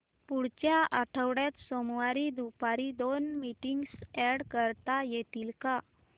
पुढच्या आठवड्यात सोमवारी दुपारी दोन मीटिंग्स अॅड करता येतील का